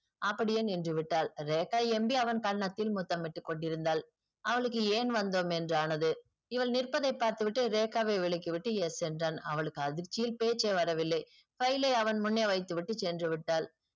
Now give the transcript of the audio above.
அப்படியே நின்றுவிட்டால் ரேகா MD அவள் கன்னத்தில் முத்தமிட்டுக்கொண்டிருந்தால் அவளுக்கு ஏன் வந்தோம் என்றானது இவள் நிற்ப்பதை பார்த்துவிட்டு ரேகா வை விலக்கிவிட்டு yes என்றான் அவளுக்கு அதிர்ச்சியில் பேச்சே வரவில்லை file ஐ அவள் முன்னே வைத்து விட்டு சென்றுவிட்டால்